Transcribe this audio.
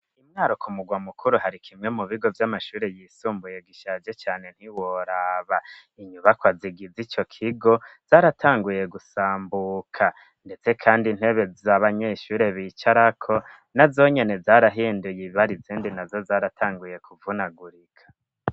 Imwaruko murwa mukuru hari kimwe mu bigo vy'amashure yisumbuye gishaje cane ntiworaba inyubako azigiza ico kigo zaratanguye gusambuka, ndetse, kandi ntebe z'abanyeshuri bicarako na zonyene zarahinduye ibibari zindi na zo zaratanguye kuvunagurika.